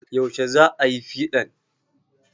Yaushe za ayi piɗan?